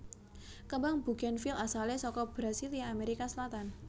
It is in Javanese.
Kembang bugènvil asalé saka Brasilia Amerika Selatan